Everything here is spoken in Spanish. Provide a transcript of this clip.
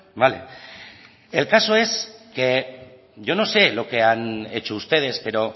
vale el caso es que yo no sé lo que han hecho ustedes pero